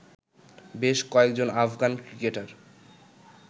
বেশ কয়েকজন Afghan cricketer